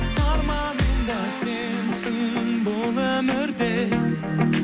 арманым да сенсің бұл өмірде